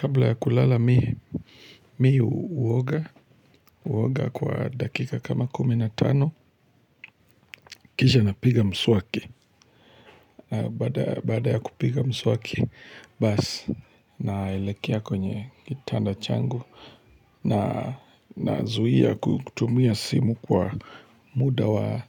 Kabla ya kulala mii uoga kwa dakika kama kumi na tano, kisha napiga mswaki. Baada ya kupiga mswaki bas naelekea kwenye kitanda changu nazuhia kutumia simu kwa muda wa